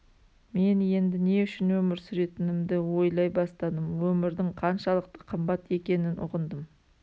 мен енді не үшін өмір сүретінімді ойлай бастадым өмірдің қаншалықты қымбат екенін ұғындым